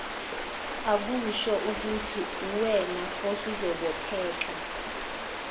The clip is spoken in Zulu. akushoukuthi uwena osuzobopheka